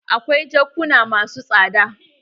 Akwai jakuna masu tsada.